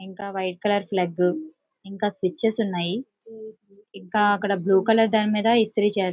ఇంక white colour plug ఇంక switches ఉనాయి. ఇంక ఇక్కడ బ్లూ కలర్ దాని మీద ఇస్త్రీ చేస్తున్నారు.